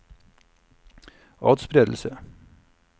atspredelse